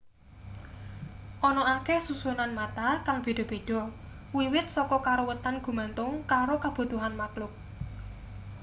ana akeh susunan mata kang beda-beda wiwit saka karuwetan gumantung karo kabutuhan makluk